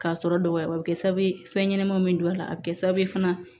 K'a sɔrɔ dɔgɔya bɛ kɛ sababu ye fɛn ɲɛnɛmanw bɛ don a la a bɛ kɛ sababu ye fana